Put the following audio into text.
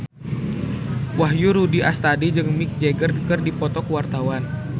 Wahyu Rudi Astadi jeung Mick Jagger keur dipoto ku wartawan